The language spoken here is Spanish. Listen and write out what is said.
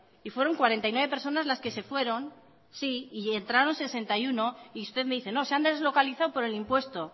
y fueron cuarenta y nueve personas las que se fueron sí y entraron sesenta y uno y usted me dice no se han deslocalizado por el impuesto